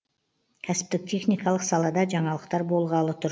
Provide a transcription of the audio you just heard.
кәсіптік техникалық салада жаңалықтар болғалы тұр